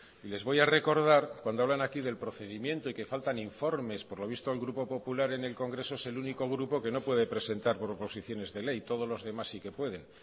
y les voy a recordar cuando hablan aquí del procedimiento y que faltan informes por lo visto el grupo popular en el congreso es el único grupo que no puede presentar proposiciones de ley todos los demás sí que pueden